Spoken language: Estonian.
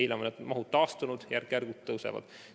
Nüüdseks on mahud taastunud, järk-järgult kasvavad.